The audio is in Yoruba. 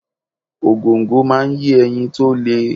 Ògòǹgò máa ń yé ẹyin to le.